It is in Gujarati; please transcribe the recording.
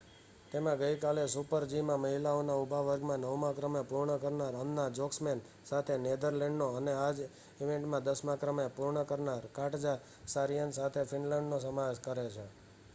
તેમાં ગઈ કાલે સુપર જી માં મહિલાઓના ઊભા વર્ગમાં નવમા ક્રમે પૂર્ણ કરનાર અન્ના જોકમસેન સાથે નેધર લેન્ડનો અને આ જ ઇવેન્ટમાં દસમાં ક્રમે પૂર્ણ કરનાર કાટજા સારીનેન સાથે ફીનલેંડનો સમાવેશ કરે છે